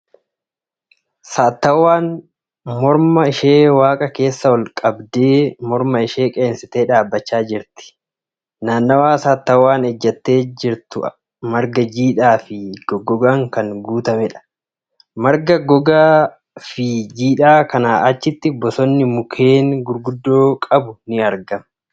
Saattawwaan morma ishee waaqa keessa ol qabdee morma ishee qeensitee dhaabbachaa jirti. Naannawaa sattawwaan ejjattee jirtu marga jiidhaa fi goggogaan kan guutameedha. Marga gogaa fi jiidhaa kanaa achitti bosonni mukeen gurguddoo qabu ni argama .